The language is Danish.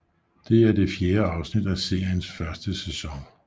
Det er det fjerde afsnit af seriens første sæson